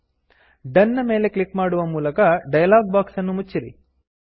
done done ನ ಮೇಲೆ click ಮಾಡುವ ಮೂಲಕ ಡಯಲಾಗ್ ಬಾಕ್ಸ್ ಅನ್ನು ಮುಚ್ಚಿರಿ